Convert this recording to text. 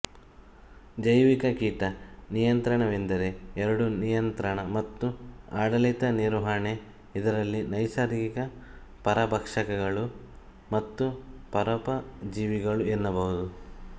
ಜೈವಿಕ ಕೀಟ ನಿಯಂತ್ರಣವೆಂದರೆ ಎರಡೂ ನಿಯಂತ್ರಣ ಮತ್ತು ಆಡಳಿತ ನಿರ್ವಹಣೆ ಇದರಲ್ಲಿ ನೈಸರ್ಗಿಕ ಪರಭಕ್ಷಕಗಳು ಮತ್ತು ಪರೋಪಜೀವಿಗಳು ಎನ್ನಬಹುದು